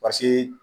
Pase